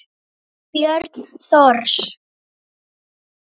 Björn Thors.